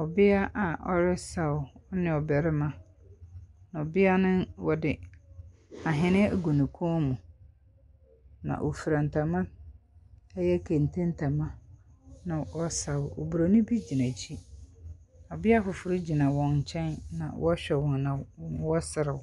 Ɔbea a ɔresaw ne ɔbarima, ɔbea no wɔde ahene agu ne kɔn mu, na ɔfura ntama, ɛyɛ kente ntama, na ɔresaw. Oburoni bi gyina akyi. Ɔbea foforo gyina nkyɛn na ɔrehwɛ wɔn na ɔreserew,